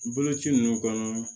Boloci ninnu kɔnɔ